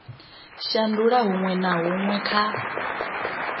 shandula huṅwe na huṅwe kha